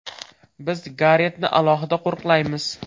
Biz Garetni alohida qo‘riqlamaymiz”.